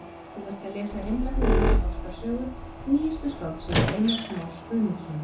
Þú ert að lesa Rimla hugans- ástarsögu, nýjustu skáldsögu Einars Más Guðmundssonar.